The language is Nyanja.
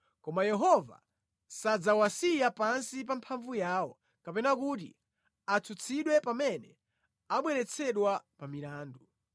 koma Yehova sadzawasiya pansi pa mphamvu yawo kapena kuti atsutsidwe pamene abweretsedwa pa milandu.